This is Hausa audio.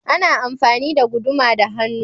Ana amfani da guduma da hannu.